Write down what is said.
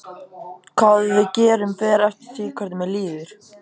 Hvað við gerum fer eftir því hvernig mér líður.